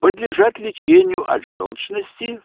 подлежат лечению от жёлчности